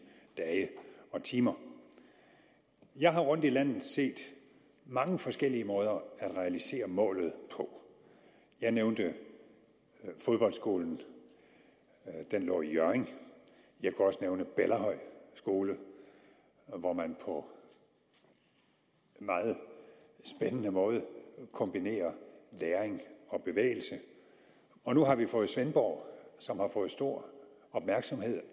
dage og timer jeg har rundt i landet set mange forskellige måder at realisere målet på jeg nævnte fodboldskolen i hjørring jeg kunne også nævne bellahøj skole hvor man på meget spændende måde kombinerer læring og bevægelse og nu har vi fået svendborg som har fået stor opmærksomhed